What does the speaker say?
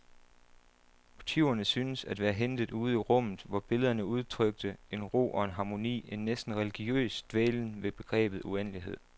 Motiverne syntes at være hentet ude i rummet, hvor billederne udtrykte en ro og en harmoni, en næsten religiøs dvælen ved begrebet uendelighed.